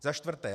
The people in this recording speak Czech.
Za čtvrté.